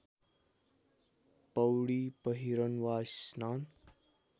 पौडिपहिरन वा स्नान